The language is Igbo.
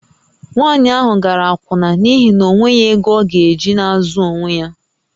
Nwaanyị ahụ gara akwụna n’ihi na o nweghị ego ọ ga-eji na-azụ onwe ya